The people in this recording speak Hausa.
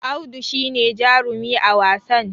Audu shi ne jarumi a wasan